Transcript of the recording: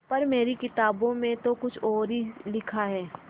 पर मेरी किताबों में तो कुछ और ही लिखा है